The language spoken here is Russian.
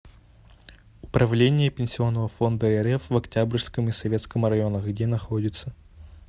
управление пенсионного фонда рф в октябрьском и советском районах где находится